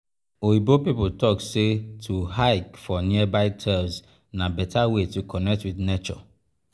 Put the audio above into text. oyibo pipo talk sey to hike for nearby trails na better way to connect with nature.